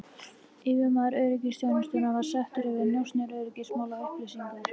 Yfirmaður öryggisþjónustunnar var settur yfir njósnir, öryggismál og upplýsingar.